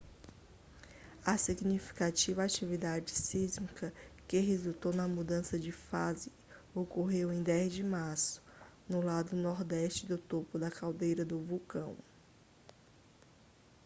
a significativa atividade sísmica que resultou na mudança de fase ocorreu em 10 de março no lado nordeste do topo da caldeira do vulcão